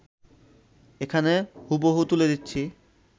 এখানে হুবহু তুলে দিচ্ছি